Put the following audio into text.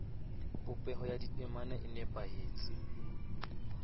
popeho ya ditemana e nepahetse